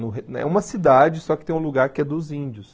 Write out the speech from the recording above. É uma cidade, só que tem um lugar que é dos índios.